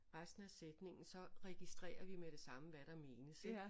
Resten af sætningen så registrerer vi med det samme hvad der menes ik